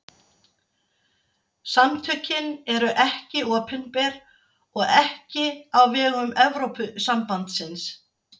Samtökin eru ekki opinber og ekki á vegum Evrópusambandsins.